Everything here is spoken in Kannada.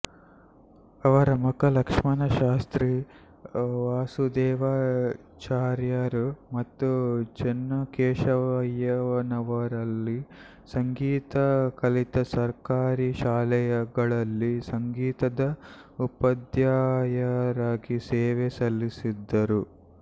ಅವರ ಮಗ ಲಕ್ಷ್ಮಣ ಶಾಸ್ತ್ರಿ ವಾಸುದೇವಾಚಾರ್ಯರು ಮತ್ತು ಚೆನ್ನಕೇಶವಯ್ಯನವರಲ್ಲಿ ಸಂಗೀತ ಕಲಿತು ಸರ್ಕಾರಿ ಶಾಲೆಗಳಲ್ಲಿ ಸಂಗೀತದ ಉಪಧ್ಯಾಯರಾಗಿ ಸೇವೆ ಸಲ್ಲಿಸಿದರು